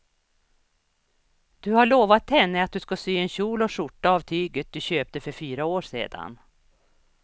Du har lovat henne att du ska sy en kjol och skjorta av tyget du köpte för fyra år sedan.